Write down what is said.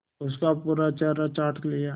उसका पूरा चेहरा चाट लिया